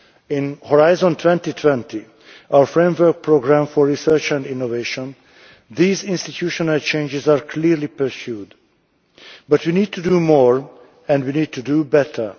In Horizon 2020, our framework programme for research and innovation, these institutional changes are clearly pursued, but we need to do more and we need to do better.